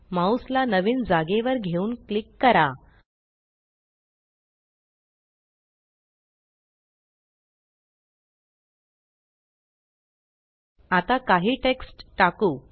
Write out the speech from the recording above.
mouse ला नवीन जागेवर घेऊन क्लिक करा आता काही टेक्स्ट टाकु